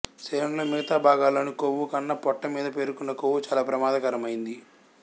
శరీరంలో మిగతా భాగాల్లోని కొవ్వు కన్నా పొట్ట మీద పేరుకునే కొవ్వు చాలా ప్రమాదకరమైంది